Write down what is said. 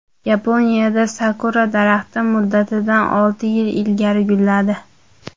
Yaponiyada sakura daraxti muddatidan olti yil ilgari gulladi.